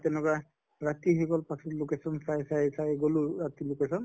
তেনুকা ৰাতি হৈ গʼল প্ৰথম location চাই চাই চাই গʼলো ৰাতি location